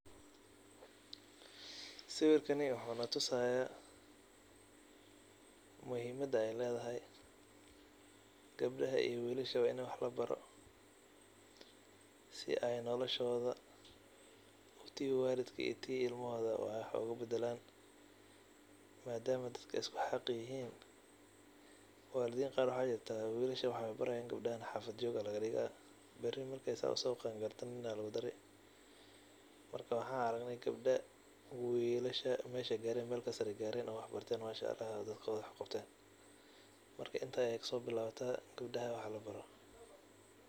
Sawirkani waxuu natusaayaa muhiimada ay leedahay gebdhaha iyo wiilashaba in wax labaro si ay noolashooda, tii waalidka iyo tii ilmahooda wax ugu bedelaan maadaama dadka ay usku xaq yihiin. Waalidiin qaar waxaa jirta wiilasha wax ay barayin gebdhaha xaafid joog ayaa laga dhiga. Beri marka ay saa u soo qaangaarto nin ayaa lugu dari. Marka, waxaan aragnay gebdho wiilasha meesh ay gaareen meel ka sare ay gaareen oo wax barteen mashaAllah oo dadkooda wax u qabteen. Marka, in't ayaay ka soo bilaabata gebdhaha wax labaro.